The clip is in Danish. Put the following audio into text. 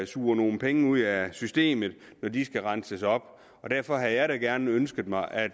suger nogle penge ud af systemet når de skal renses op og derfor havde jeg da gerne ønsket mig at